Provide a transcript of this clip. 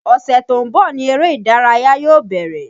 Ọ̀sẹ̀ tó ń bọ̀ ni eré ìdárayá yóò bẹ̀rẹ̀